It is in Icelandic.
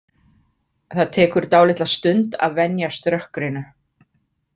Það tekur dálitla stund að venjast rökkrinu.